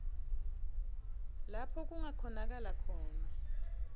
lapho kungakhonakala khona